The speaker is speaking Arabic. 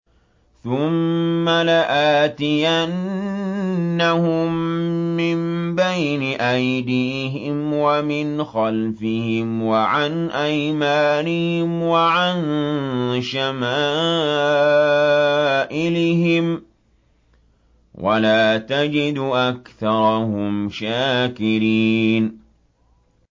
ثُمَّ لَآتِيَنَّهُم مِّن بَيْنِ أَيْدِيهِمْ وَمِنْ خَلْفِهِمْ وَعَنْ أَيْمَانِهِمْ وَعَن شَمَائِلِهِمْ ۖ وَلَا تَجِدُ أَكْثَرَهُمْ شَاكِرِينَ